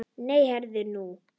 Nei, heyrðu nú.